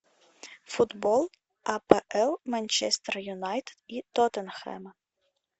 футбол апл манчестер юнайтед и тоттенхэма